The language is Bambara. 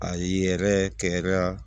A ye yɛrɛ kɛ ya